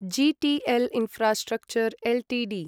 GTL infrastructure Ltd